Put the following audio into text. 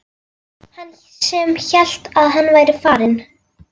Hann sem hélt að hann væri farinn!